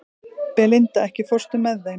Belinda, ekki fórstu með þeim?